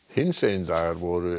hinsegin dagar voru